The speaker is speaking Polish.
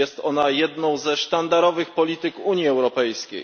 Jest ona jedną ze sztandarowych polityk Unii Europejskiej.